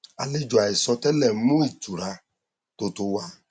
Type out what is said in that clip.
àlejò àìsọ tẹlẹ mú ìtura tó tó wá